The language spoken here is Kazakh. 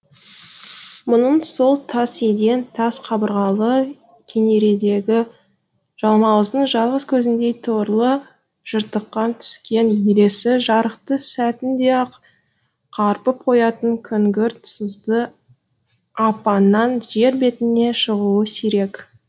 мұның сол тас еден тас қабырғалы кенередегі жалмауыздың жалғыз көзіндей торлы жыртықка түскен өлесі жарықты сәтінде ақ қарпып қоятын күңгірт сызды апаннан жер бетіне шығуы сирек